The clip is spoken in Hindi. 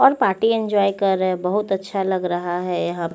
और पार्टी एन्जॉय कररे बोहोत अच्छा लग रहा है यहा पे--